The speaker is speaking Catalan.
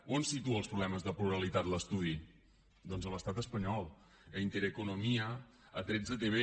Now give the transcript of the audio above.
on situa els problemes de pluralitat l’estudi doncs a l’estat espanyol a intereconomía a 13tv